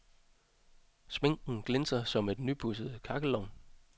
Sminken glinser som en nypudset kakkelovn.